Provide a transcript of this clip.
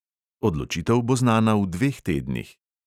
Odločitev bo znana v dveh tednih.